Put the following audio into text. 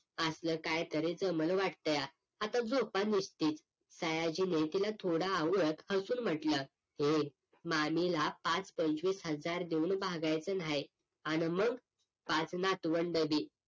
आपलं काहीतरी जमलं वाटतया आता झोपा निच्छित सयाजीने लेकीला थोड आवळत हसून म्हटलं हे मामीला पाच पंचवीस हजार देऊन भागायचं न्हाही आण मग पाच नातवंड भी